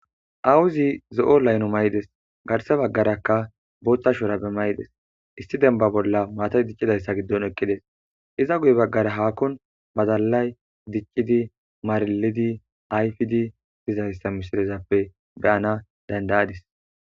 Awuzi zo7o layno mayides. Garse bagaraka botha shurabe mayides. Issi denba bola matay dicidaysa gidon eqides. Eza guye bagara hakon badalay dicidi marilidi ayfidi dizaysa misilezappe be7ana danada7adis.